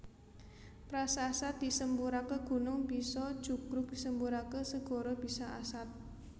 Prasasat disemburaké gunung bisa jugruk disemburaké segara bisa asat